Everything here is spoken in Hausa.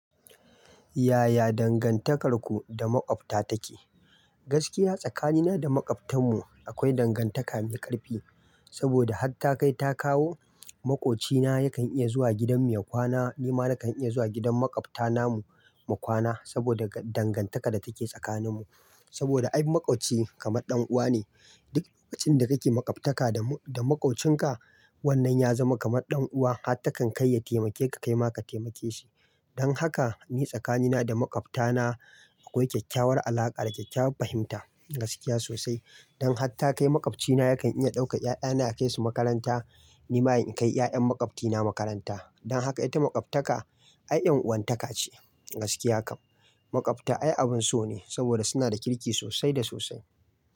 Yaya dangantakarku da makwabta take? Gaskiya tsakanina da makwabtan mu akwai dangantaka mai ƙarfi. Saboda hatta kai ta kawo, makwabcina yakan iya zuwa gidan mu ya kwana, nima nakan iya zuwa gidan makwabta namu mu kwana saboda dangantaka da take tsakanin mu. Saboda ai makwabci kamar ɗan'uwa ne. Duk lokacin da kake makwabtaka da makwabcinka, wannan ya zama kamar ɗan'uwa har takan kai ya taimake ka, kaima ka taimake shi. Don haka ni tsakanina da makwabta na akwai kyakkyawar alaƙa da kyakkyawar fahimta. Gaskiya sosai. Don hatta kai makwabcina yakan iya ɗauka 'ya'ya na yakai su makaranta, nima in kai 'ya'yan makwabtina makaranta. Don haka ita makwabtaka ai yan'uwantaka ce. Gaskiya kam. Makwabta ai abin so ne saboda suna da kirki sosai da sosai.